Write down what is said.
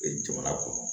Jamana kɔnɔ